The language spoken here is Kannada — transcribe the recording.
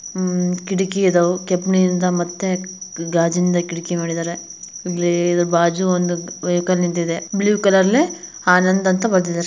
ಅಮ್ ಕಿಡಕಿ ಅದಾವು. ಕೆಬ್ಣಿಯಿಂದ್ ಮತ್ತೆ ಗಾಜಿಂದ ಕಿಡ್ಕಿ ಮಾಡಿದಾರೆ. ಇಲ್ಲಿ ಬಾಜು ಒಂದು ವೆಹಿಕಲ್ ನಿಂತಿದೆ. ಬ್ಲೂ ಕಲರ್ಲೆ ಆನಂದ್ ಅಂತ ಬರ್ದಿದಾರ್.